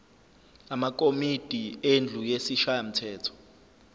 amakomidi endlu yesishayamthetho